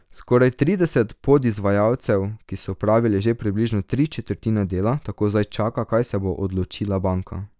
Skoraj trideset podizvajalcev, ki so opravili že približno tri četrtine dela, tako zdaj čaka, kaj se bo odločila banka.